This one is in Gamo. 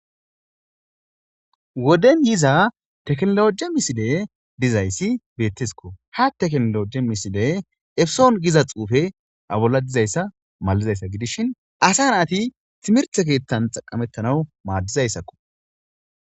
woden yiza teknologe misile dizayssi beettesiko ha teknoloji misile efeson giza xuufe abolla dizayssa malizayssa gidishin asa na ati timirthe keettan xaqamettanaw maaddizayssakko